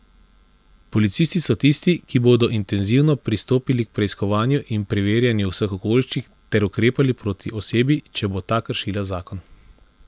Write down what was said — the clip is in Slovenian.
Policisti so tisti, ki bodo intenzivno pristopili k preiskovanju in preverjanju vseh okoliščin ter ukrepali proti osebi, če bo ta kršila zakon.